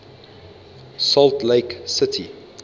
salt lake city